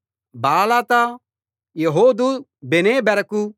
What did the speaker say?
Baalath Jehud Beneberak